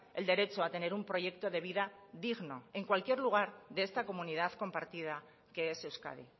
el derecho a tener un proyecto de vida digno el cualquier lugar de esta comunidad compartida que es euskadi